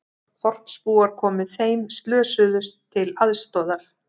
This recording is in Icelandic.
Þorpsbúar komu þeim slösuðust til aðstoðar